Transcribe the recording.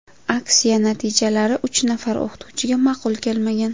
Aksiya natijalari uch nafar o‘qituvchiga ma’qul kelmagan.